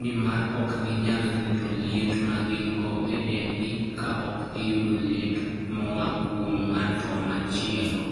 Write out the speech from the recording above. nimar ok ginyal rito liet ma gin-go e dendgi ka ok giyudo liet moa kuom ng'at machielo.